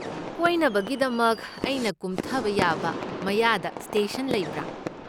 ꯀꯣꯏꯅꯕꯒꯤꯗꯃꯛ ꯑꯩꯅ ꯀꯨꯝꯊꯕ ꯌꯥꯕ ꯃꯌꯥꯗ ꯁ꯭ꯇꯦꯁꯟ ꯂꯩꯕ꯭ꯔꯥ?